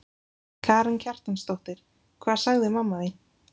Karen Kjartansdóttir: Hvað sagði mamma þín?